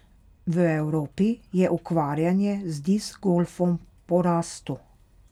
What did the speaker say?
V Evropi je ukvarjanje z disk golfom v porastu.